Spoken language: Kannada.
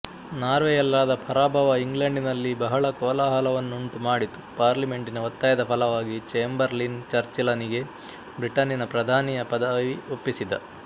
ನಾರ್ವೆಯಲ್ಲಾದ ಪರಾಭವ ಇಂಗ್ಲೆಂಡಿನಲ್ಲಿ ಬಹಳ ಕೋಲಾಹಲವನ್ನುಂಟು ಮಾಡಿತು ಪಾರ್ಲಿಮೆಂಟಿನ ಒತ್ತಾಯದ ಫಲವಾಗಿ ಚೇಂಬರ್ಲಿನ್ ಚರ್ಚಿಲನಿಗೆ ಬ್ರಿಟನ್ನಿನ ಪ್ರಧಾನಿಯ ಪದವಿ ಒಪ್ಪಿಸಿದ